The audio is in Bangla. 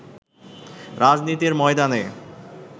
রাজনীতির ময়দানে